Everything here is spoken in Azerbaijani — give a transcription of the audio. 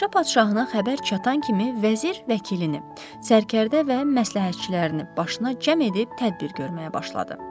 Meşə padşahına xəbər çatan kimi vəzir vəkilini, sərkərdə və məsləhətçilərini başına cəm edib tədbir görməyə başladı.